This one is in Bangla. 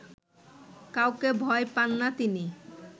কাউকে ভয় পান না তিনি